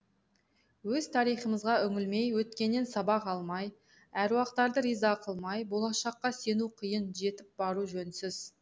өз тарихымызға үңілмей өткеннен сабақ алмай әруақтарды риза қылмай болашаққа сену қиын жетіп бару жөнсіз